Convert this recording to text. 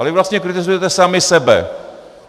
Ale vy vlastně kritizujete sami sebe.